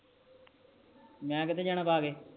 ਮੈ ਕਿਥੇ ਜਾਣਾ ਪਾ ਕ